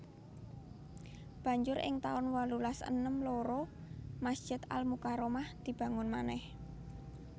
Banjur ing taun wolulas enem loro Masjid Al Mukarromah dibangun manèh